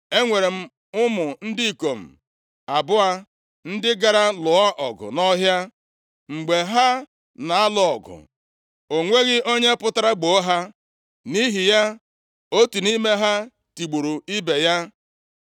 Enwere m ụmụ ndị ikom abụọ ndị gara lụọ ọgụ nʼọhịa. Mgbe ha na-alụ ọgụ ahụ, o nweghị onye pụtara gboo ha. Nʼihi ya, otu nʼime ha tigburu ibe ya.